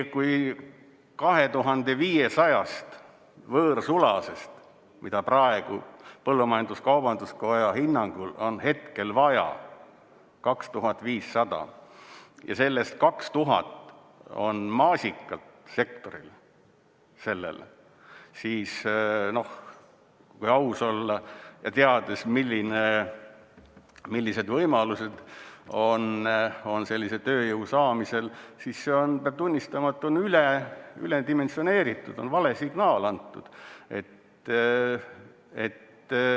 Kui 2500 võõrsulasest, mida praegu põllumajandus-kaubanduskoja hinnangul on vaja, ja sellest 2000 on maasikasektorile, siis kui aus olla ja teades, millised võimalused on sellise tööjõu saamisel, siis see on, peab tunnistama, üledimensioneeritud, on vale signaal antud.